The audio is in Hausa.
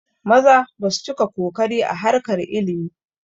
Maza basu cika kokari ba a harkar ilimi